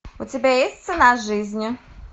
у тебя есть цена жизни